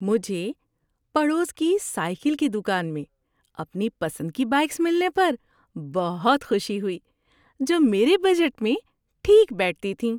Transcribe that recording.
مجھے پڑوس کی سائیکل کی دکان میں اپنی پسند کی بائیکس ملنے پر بہت خوشی ہوئی جو میرے بجٹ میں ٹھیک بیٹھتی تھیں۔